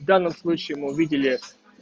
в данном случае мы увидели